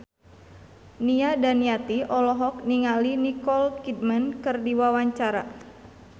Nia Daniati olohok ningali Nicole Kidman keur diwawancara